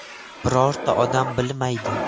Birorta odam bilmaydi.